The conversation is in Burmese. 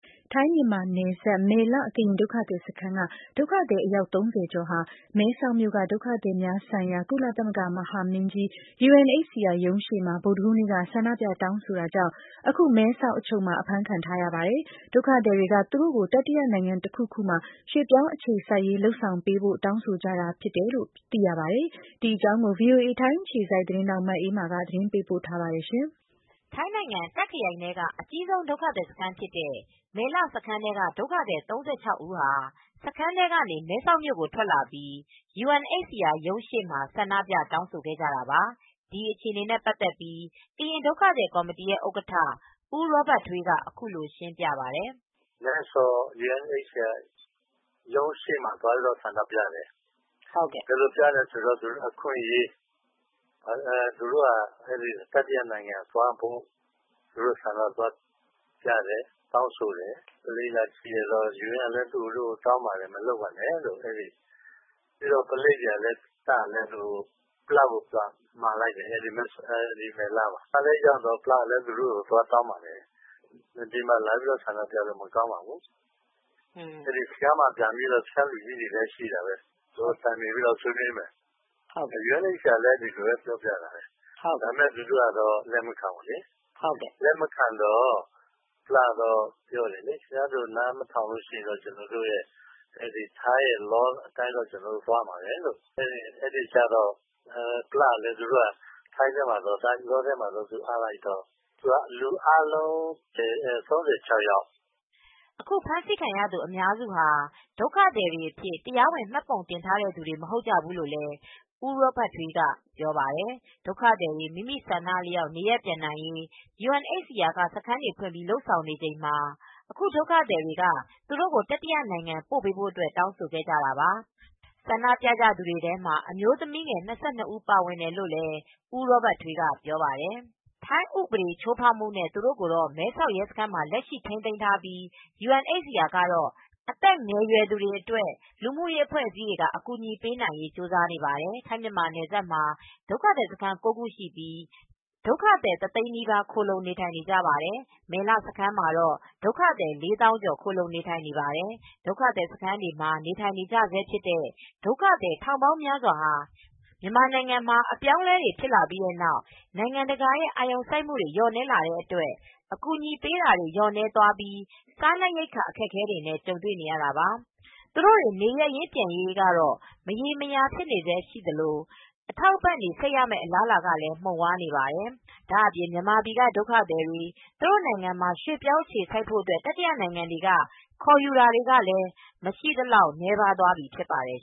ထိုင်း-မြန်မာနယ်စပ် မယ်လ ကရင်ဒုက္ခသည်စခန်းက ဒုက္ခသည် အယောက် ၃၀ ကျော်ဟာ မဲဆောက်မြို့က ဒုက္ခသည်များ ဆိုင်ရာ ကုလသမဂ္ဂ မဟာမင်းကြီး UNHCR ရုံးရှေ့မှာ ဗုဒ္ဓဟူးနေ့က ဆန္ဒပြ တောင်းဆိုတာကြောင့် အခု မဲဆောက်အချုပ်မှာ အဖမ်းခံထားကြရပါတယ်။ ဒုက္ခသည်တွေက သူတို့ကို တတိယနိုင်ငံတခုခုမှာ ရွှေ့ပြောင်းအခြေစိုက်ရေး လုပ်ဆောင်ပေးဖို့ တောင်းဆိုကြတာဖြစ်ပြီး တာဝန်ရှိသူတွေက ညှိနှိုင်းပြောဆိုပေမယ့် အဆင်မပြေတာကြောင့် အခုလို အဖမ်းခံထားကြရတာပါ။ ဒီအကြောင်း ဗွီအိုအေ ထိုင်းအခြေစိုက်သတင်းထောက် မအေးအေးမာက သတင်းပေးပို့ထားပါတယ်။ ထိုင်းနိုင်ငံ တာ့ခ်ခရိုင်ထဲက အကြီးဆုံးဒုက္ခသည်စခန်းဖြစ်တဲ့ မယ်လစခန်းထဲက ဒုက္ခသည် ၃၆ ဦးဟာ စခန်းထဲကနေ မဲဆောက် ကိုထွက်လာပြီး UNHCR ရုံးရှေ့မှာ ဆန္ဒပြ တောင်းဆိုကြတာပါ။ ဒီအခြေအနေနဲ့ပတ်သက်ပြီး ကရင်ဒုက္ခသည်ကော်မတီဥက္ကဌ ဦးရောဘတ်ထွေးက အခုလိုရှင်းပြပါတယ်။ "မဲဆောက် ယူအန်အိတ်စီအာရုံးရှေ့မှာ ဆန္ဒပြတယ် ဘယ်လိုပြလဲဆိုတော့ သူတို့အခွင့်ရေးအတွက် တတိယနိုင်ငံ သွားရရေး အတွက် သွားပြကြတယ် တောင်းဆိုတယ် ပုလိပ်တွေကလည်းလာကြည့်တယ် ယူအန်ကလည်း မလုပ်ပါနဲ့လို့တောင်းပန်တယ် ပုလိပ်တို့စစ်တပ်တို့ကလည်း စခန်းက ပလာ့ ကို အကြောင်းကြားတယ် ပလာ့လည်းလာတယ် ပလာ့လည်းရောက်လာတော့ သူတို့ကိုသွားတောင်ပန်တယ် ဒီမှာပြလို့မကောင်းပါဘူး စခန်းထဲမှာပဲသွားပြီး စခန်းထဲမှာ စခန်း လူြ့ကီးတွေလည်းှရှိတယ် စခန်းထဲကိုသွားပြန်ဆွေးနွေးကြမယ်လို့ပြောတယ် သူတိုကအဲဒါကိုလက်မခံဘူး ယူအန်ကလည်း ပြောတယ် သူတို့ကတော့လက်မခံဘူး အဲဒါနဲ့ ပလာ့က ထိုင်းဥပဒေအတိုင်းပဲသွားရတော့မယ်ဆိုပြိး အပ်လိုက်တယ် အဲဒီမှာ လူအားလုံး ၃၆ ယောက်" အခုအဖမ်းခံရသူအများစုဟာ ဒုက္ခသည်အဖြစ် တရားဝင်မှတ်ပုံတင်ထားတဲ့သူတွေ မဟုတ်ကြဘူးလို့လည်း ဦးရောဘတ်ထွေးက ပြောပါတယ်။ ဒုက္ခသည်တွေ မိမိသဘောဆန္ဒအလျောက် နေရပ်ပြန်နိုင်ရေး UNHCR က စခန်းတွေဖွင့်ပြီး လ ုပ်ဆောင်နေချိန်မှာ အခုဒုက္ခသည် တွေက သူတို့ကို တတိယနိုင်ငံပို့ပေးဖို့ တောင်းဆိုကြတာပါ။ ဆန္ဒပြသူတွေထဲမှာ အမျိုးသမီးငယ် ၂၂ ဦး ပါတယ်လို့ ဦးရောဘတ် ထွေးက ပြောပါတယ်။ ထိုင်းဥပဒေချိုးဖောက်မှုနဲ့ သူတို့ကို မဲဆောက်ရဲစခန်းအချုပ်မှာ လက်ရှိထိန်းသိမ်းထားပြိး ယူအန်အိပ်စီအာကတော့ အသက်ငယ် ရွယ်သူတွေအတွက် လူမူရေးအဖွဲအစည်းတွေက အကူညီပေးနိုင်ရေးကြိုးစားနေပါတယ်။ ထိုင်း-မြန်မာနယ်စပ်မှာ ဒုက္ခသည်စခန်း ၉ ခုရှိပြိး ဒုက္ခသည်တသိန်းနီးပါးခိုလှုံနေထိုင်နေကြပါတယ်။ မယ်လစခန်းမှာတော့ ဒုက္ခသည် ၄ သောင်းကျော်ခိုလှုံနေထိုင်နေပါတယ်။ ဒုက္ခသည်စခန်းတွေမှာ နေထိုင်နေကြရဆဲဖြစ်တဲ့ ဒုက္ခသည် ထောင်ပေါင်းများစွာဟာ မြန်မာနိုင်ငံမှာ အပြောင်းအလဲတွေ ဖြစ်လာပြီးတဲ့နောက် နိုင်ငံတကာရဲ့ အာရုံစိုက်မှု လျော့နည်းလာတဲ့အတွက် အကူအညီပေးတာတွေ လျော့နည်းသွားပြီး စားနပ်ရိက္ခာ အခက်အခဲတွေနဲ့ ကြုံတွေ့နေကြရတာပါ။ သူတို့တွေ နေရပ်ရင်းပြန်ရေး မရေမရာဖြစ်နေဆဲရှိသလို အထောက်အပံ့တွေ ဆက်ရမယ့်အလားအလာကလည်း မှုံဝါးနေပါတယ်။ ဒါ့အပြင် မြန်မာပြည်ကဒုက္ခသည်တွေ သူတို့နိုင်ငံမှာ ရွှေ့ပြောင်း အခြေစိုက်နေထိုင်ဖို့ တတိယနိုင်ငံတွေက ခေါ်ယူတာတွေလည်း မရှိသလောက် နည်းသွားပြီဖြစ်ပါတယ်